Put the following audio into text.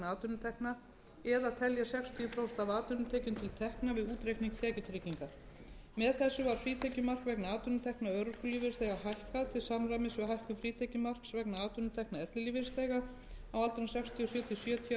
atvinnutekna eða telja sextíu prósent af atvinnutekjum til tekna við útreikning tekjutryggingar með þessu var frítekjumark vegna atvinnutekna örorkulífeyrisþega hækkað til samræmis við hækkun frítekjumarks vegna atvinnutekna ellilífeyrisþega á aldrinum sextíu og sjö til sjötíu ára eða